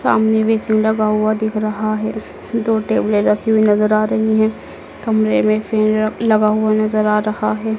सामने बेसिन लगा हुआ दिख रहा है। दो टेबलें रखी हुई नज़र आ रही हैं। कमरे में फैन लगा हुआ नज़र आ रहा है।